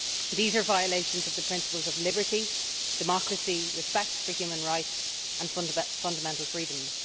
These are violations of the principles of liberty, democracy, respect for human rights and fundamental freedoms.